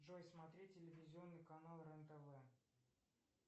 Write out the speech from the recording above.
джой смотреть телевизионный канал рен тв